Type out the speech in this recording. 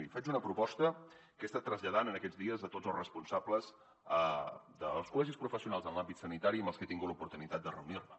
miri faig una proposta que he estat traslladant en aquests dies a tots els responsables dels col·legis professionals en l’àmbit sanitari amb els que he tingut l’oportunitat de reunir me